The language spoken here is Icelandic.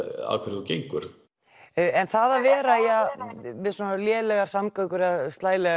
að hverju þú gengur en það að vera með svona lélegar samgöngur í